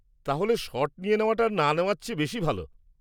তাহলে শট নিয়ে নেওয়াটা না নেওয়ার চেয়ে বেশি ভালো।